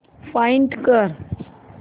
find कर